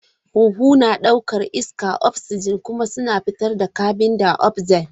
Huhu na ɗaukar iskar oxygen kuma suna fitar da carbondioxide.